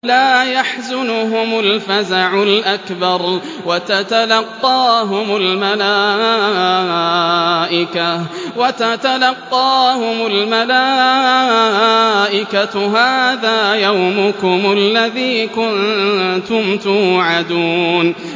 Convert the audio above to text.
لَا يَحْزُنُهُمُ الْفَزَعُ الْأَكْبَرُ وَتَتَلَقَّاهُمُ الْمَلَائِكَةُ هَٰذَا يَوْمُكُمُ الَّذِي كُنتُمْ تُوعَدُونَ